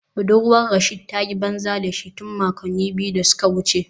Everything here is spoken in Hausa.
Budurwar Rasheed ta yi banza da shi tun makonni biyu da suka wuce